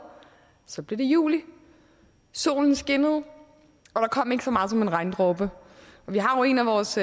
så blev det juli solen skinnede og der kom ikke så meget som en regndråbe vi har jo en af vores